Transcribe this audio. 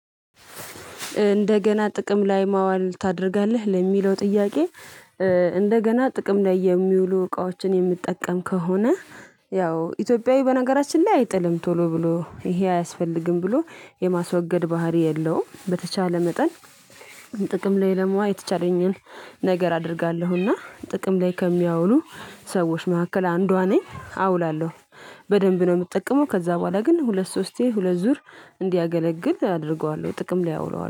እንደገና ጥቅም ላይ ማዋል ታደርጋለህ? ለሚለው ጥያቄ እንደገና ጥቅም ላይ የሚውሉ እቃዎችን የሚጠቀም ከሆነ ያው፤ ኢትዮጵያዊ በነገራችን ላይ አይጥልም ቶሎ ብሎ ይሄ አያስፈልግም ብሎ የማስወገድ ባህሪ የለውም በተቻለ መጠን ጥቅም ላይ ለማዋዕ የተቻለኝን ነገር አደርጋለሁና ጥቅም ላይ ከሚያውሉ ሰዎች መካከል አንዷ ነኝ። አውላለው። በደንብ ነው የምጠቀመው። ከዛ በኋላ ግን ሁለት ሶስቴ፤ ሁለት ዙር እንዲያገለግል አደርገዋለሁ ጥቅም ላይ አውለዋለሁ።